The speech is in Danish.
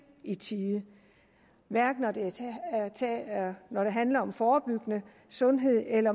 i tide hverken når det handler om forebyggelse sundhed eller